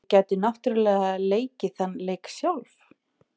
Ég gæti náttúrlega leikið þann leik sjálf.